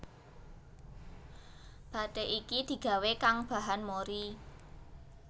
Bathik iki digawé kang bahan mori